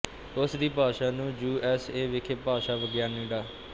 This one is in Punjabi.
ਉਸਦੀ ਭਾਸ਼ਾ ਨੂੰ ਯੂਐਸਏ ਵਿਖੇ ਭਾਸ਼ਾ ਵਿਗਿਆਨੀ ਡਾ